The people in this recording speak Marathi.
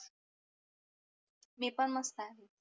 मी पण मस्त आहे